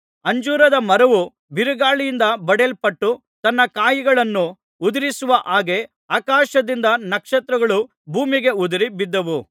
ಅಂಜೂರದ ಮರವು ಬಿರುಗಾಳಿಯಿಂದ ಬಡಿಯಲ್ಪಟ್ಟು ತನ್ನ ಕಾಯಿಗಳನ್ನು ಉದುರಿಸುವ ಹಾಗೆ ಆಕಾಶದಿಂದ ನಕ್ಷತ್ರಗಳು ಭೂಮಿಗೆ ಉದುರಿ ಬಿದ್ದವು